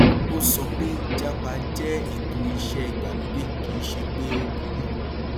ó sọ pé jápa jẹ ètò iṣẹ ìgbàlódé kì í ṣe pé ó burú